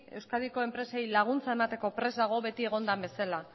euskadiko enpresei laguntza emateko prest dago beti egon den bezala